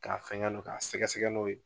K'a fɛnkɛ don k'a sɛgɛsɛgɛ n'o ye